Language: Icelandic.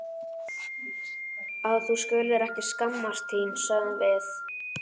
Að þú skulir ekki skammast þín, sögðum við.